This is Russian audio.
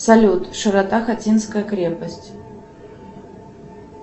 салют широта хотинская крепость